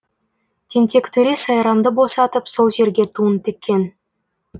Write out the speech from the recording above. тентек төре сайрамды босатып сол жерге туын тіккен